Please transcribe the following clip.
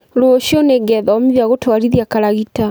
Rũciũ nĩngethomithia gũtwarithia karagita